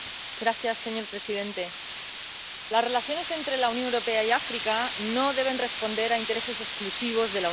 Señor presidente, las relaciones entre la Unión Europea y África no deben responder a intereses exclusivos de la Unión.